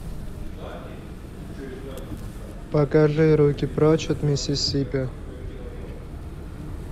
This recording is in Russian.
покажи руки прочь от миссисипи